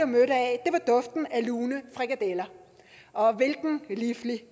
mødt af var duften af lune frikadeller og hvilken liflig